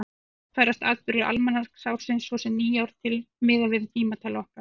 Jafnframt færast atburðir almanaksársins, svo sem nýár, til miðað við tímatal okkar.